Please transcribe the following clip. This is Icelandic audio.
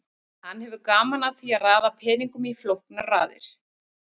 Hann hefur gaman af því að raða peningum í flóknar raðir.